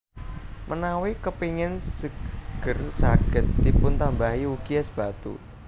Menawi kepéngin seger saged dipuntambahi ugi és batu